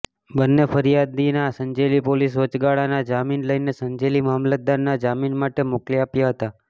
બંને ફરિયાદીના સંજેલી પોલીસે વચગાળાના જામીન લઇને સંજેલી મામલતદારના જામીન માટે મોકલી આપ્યા હતા